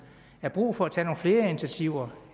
er brug for at tage nogle flere initiativer